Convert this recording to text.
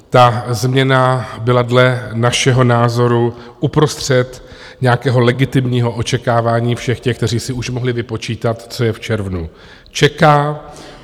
Ta změna byla dle našeho názoru uprostřed nějakého legitimního očekávání všech těch, kteří si už mohli vypočítat, co je v červnu čeká.